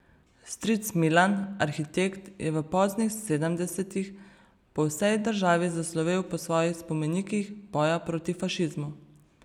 Stric Milan, arhitekt, je v poznih sedemdesetih po vsej državi zaslovel po svojih spomenikih boja proti fašizmu.